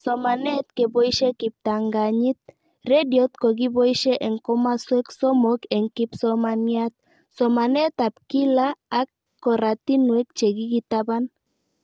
Somanet keboishe kiptanganyit, rediot ko kipoishe eng' komaswek somok eng' kipsomaniat, somanet ab kila ak koratinwek che kikitaban